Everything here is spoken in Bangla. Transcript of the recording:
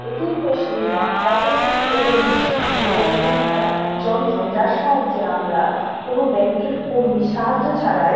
এ. T .M. মেশিন বা অটোমেটেড টেলার মেশিন হল এমন একটা যন্ত্র যার সাহায্যে আমরা কোনো ব্যাংক এর কর্মীর সাহায্য ছাড়াই--